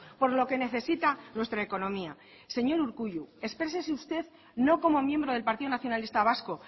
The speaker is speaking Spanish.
por lo que necesita nuestra economía señor urkullu expresese usted no como miembro del partido nacionalista vasco